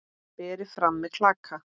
Berið fram með klaka.